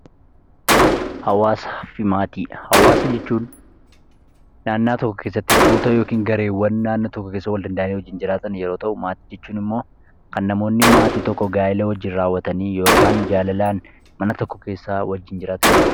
Hawaasaa fi maatii, hawaasa jechuun naannaa tokko keessatti tuuta yookin gareewwan tokko keessa wal danda'anii wajjin jiraatan yeroo ta'u maatii jechuun immoo kan namoonni maatii tokko gaa'ila wajjin raawwatanii yookaan jaalalaan mana tokko keessaa wajjin jiraatan jechuudha.